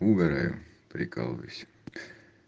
угораю прикалываюсь